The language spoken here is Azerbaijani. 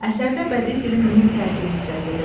Əsərdə bədii dilin mühüm tərkib hissəsidir.